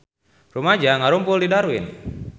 Rumaja ngarumpul di Darwin